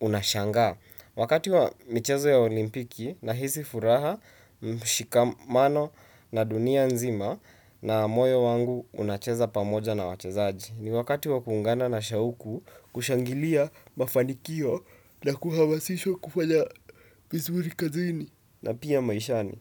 unashangaa. Wakati wa michezo ya olimpiki na hisi furaha, mshikamano na dunia nzima na moyo wangu unacheza pamoja na wachezaji. Ni wakati wa kuungana na shauku kushangilia mafanikio na kuhamasishwa kufanya vizuri kazini na pia maishani.